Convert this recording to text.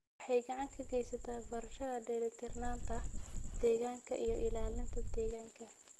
Waxay gacan ka geysataa barashada dheelitirnaanta deegaanka iyo ilaalinta deegaanka.